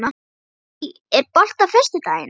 Betsý, er bolti á föstudaginn?